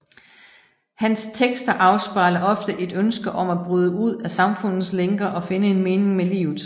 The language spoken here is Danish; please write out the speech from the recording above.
Hans tekster afspejler ofte et ønske om at bryde ud af samfundets lænker og finde en mening med livet